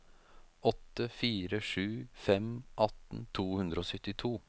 åtte fire sju fem atten to hundre og syttito